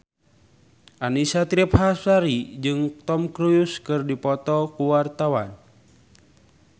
Annisa Trihapsari jeung Tom Cruise keur dipoto ku wartawan